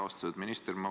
Austatud minister!